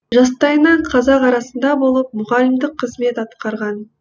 жастайынан қазақ арасында болып мұғалімдік қызмет атқарған